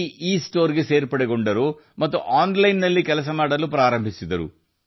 C ಇಸ್ಟೋರ್ಗೆ ಸೇರಿಕೊಂಡರು ಮತ್ತು ಆನ್ಲೈನ್ ನಲ್ಲಿ ದರ್ಜಿ ಕೆಲಸ ಮಾಡಲು ಪ್ರಾರಂಭಿಸಿದರು